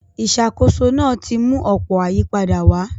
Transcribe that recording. Ìṣàkóso náà ti mú ọ̀pọ̀ ayípadà wá.